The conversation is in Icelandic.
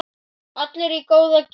Allir í góða gírnum.